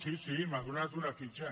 sí sí m’ha donat una fitxa